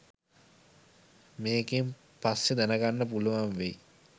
මේකෙන් පස්සෙ දැනගන්න පුළුවන් වෙයි